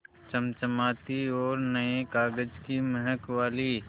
चमचमाती और नये कागज़ की महक वाली